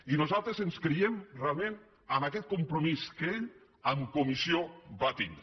i nosaltres creiem realment en aquest compromís que ell en comissió va tindre